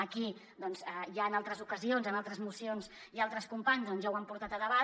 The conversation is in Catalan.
aquí doncs ja en altres ocasions en altres mocions altres companys ja ho han portat a debat